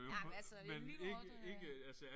Ej men altså lige nu overdriver jeg